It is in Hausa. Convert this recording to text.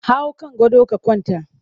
Hau kan gado ka kwanta!